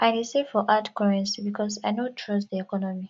i dey save for hard currency because i no trust di economy